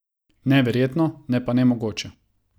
Neverjetno, ne pa nemogoče.